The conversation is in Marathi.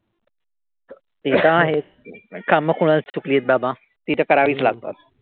ते तर आहेच. कामं कोणाला चुकली आहेत बाबा. ती तर करावीच लागतात.